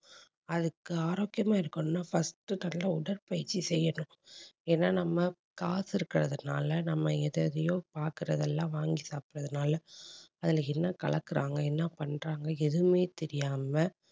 அதுக்கு ஆரோக்கியமா இருக்கணும்னா first நல்ல உடற்பயிற்சி செய்யணும். ஏன்னா நம்ம காசு இருக்கிறதுனால நம்ம எத எதையோ பார்க்கிறதெல்லாம் வாங்கி சாப்பிடுறதுனால அதுல என்ன கலக்குறாங்க என்ன பண்றாங்க எதுவுமே தெரியாம